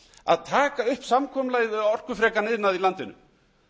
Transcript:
að taka upp samkomulagið við orkufrekan iðnað í landinu